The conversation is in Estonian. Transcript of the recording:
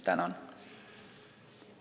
Tänan!